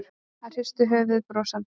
Hann hristir höfuðið brosandi.